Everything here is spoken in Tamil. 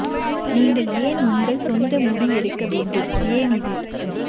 நீங்கள் ஏன் உங்கள் சொந்த முடி எடுக்க வேண்டும் ஏன் இது